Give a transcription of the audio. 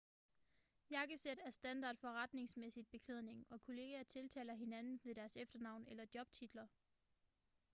jakkesæt er standard forretningsmæssig beklædning og kollegaer tiltaler hinanden ved deres efternavn eller jobtitler